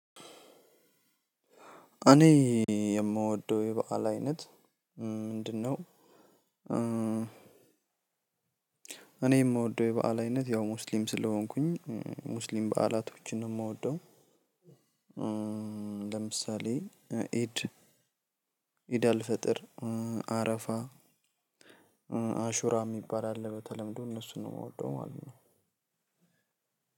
እኔ የምወደው የበአል አይነት ምንድነው? እኔ የምወደው የበአል አይነት ያው ሙስሊም ስለሆንኩኝ ሙስሊም በዓላቶችን ነው የምወደው። ለምሳሌ ኤድ ኤድ አልፈጥር አረፋ። አሹራ እሚባል አለ በተለምዶ እነሱን መው እምወደው ማለት ነው።